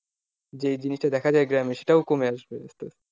যে জিনিসটা দেখা যায় গ্রামে সেটাও কমে আসবে আসতে আসতে।